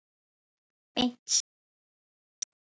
Beint strik inn til sín.